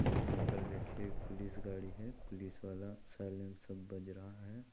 यहाँ पर देखिए पुलिस गाड़ी है पुलिस वाला साइलेंसर बज रहा है।